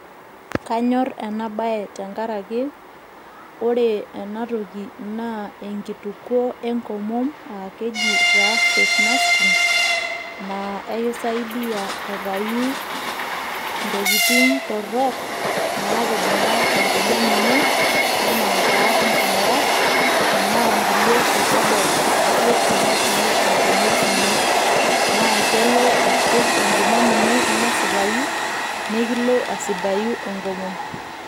Kanyor ena bae tenkaraki ore ena toki naa enkitukuo enkomom aa keji taa face masking naa ekisaidia aitayu ntokitin torrok natijinga enkomom ino ena taa nkingurat enaa nkulie pepedok kutitik natii enkomom ino naa kelo aisij enkomom ino nesipayu nikilo asidayu enkomom.